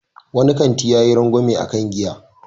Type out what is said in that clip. Wani kanti yayi rangwamen a kan giya.